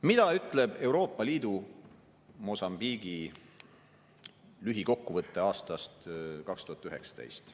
Mida ütleb Euroopa Liidu Mosambiigi lühikokkuvõte aastast 2019?